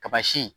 Kaba si